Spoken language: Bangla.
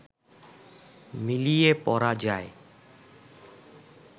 মিলিয়ে পড়া যায়